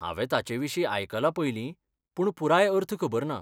हांवें ताचे विशीं आयकलां पयलीं, पूण पुराय अर्थ खबर ना.